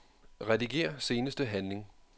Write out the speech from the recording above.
Rediger seneste handling.